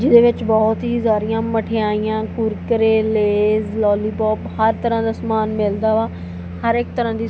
ਜਿਹਦੇ ਵਿੱਚ ਬਹੁਤ ਹੀ ਸਾਰੀਆਂ ਮਠਿਆਈਆਂ ਕੁਰਕਰੇ ਲੇਜ ਲੋਲੀਪੋਪ ਹਰ ਤਰ੍ਹਾਂ ਦਾ ਸਮਾਨ ਮਿਲਦਾ ਵਾ ਹਰ ਇਕ ਤਰਾਂ ਦੀ--